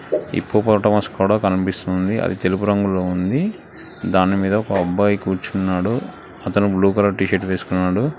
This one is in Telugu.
హిప్పోపటమస్ కూడా కనిపిస్తుంది అది తెలుపు రంగులో ఉంది దాని పైన ఒక అబ్బాయి కూర్చున్నాడు అతను బ్లూ కలర్ టీషీర్ట్ వేస్కున్నాడు